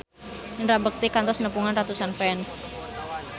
Indra Bekti kantos nepungan ratusan fans